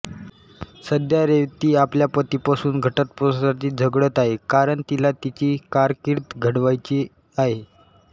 सध्या रेवती आपल्या पतीपासून घटस्फोटासाठी झगडत आहे कारण तिला तिची कारकीर्द घडवायची आहे